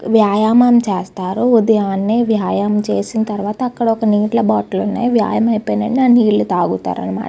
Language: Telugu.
వ్యాయామం చేస్తారు. ఉదయాన్నే వ్యాయామం చేసిన తర్వాత అక్కడ నీళ్ళ బాటిల్ ఉంది. వ్యాయాయం చేసిన తర్వాత ఆ నీళ్ళు తాగుతారు అన్నమట.